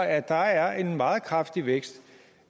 at der er en meget kraftig vækst